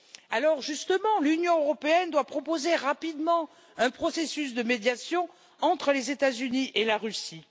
Alors justement, l'Union européenne doit proposer rapidement un processus de médiation entre les États Unis et la Russie.